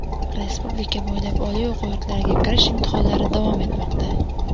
Respublika bo‘ylab oliy o‘quv yurtlariga kirish imtihonlari davom etmoqda.